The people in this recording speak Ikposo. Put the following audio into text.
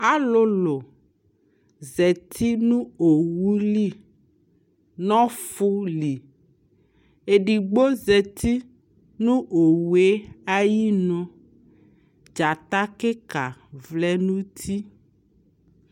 alʋlʋ zati nʋ ɔwʋli nʋ ɔƒʋli , ɛdigbɔ zati nʋ ɔwʋɛ ayinʋ, dzata kikaa vlɛnʋ ʋti